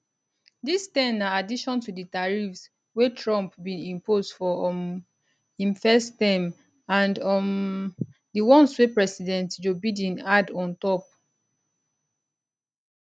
dis ten na addition to di tariffs wey trump bin impose for um im first term and um di ones wey president joe biden add on top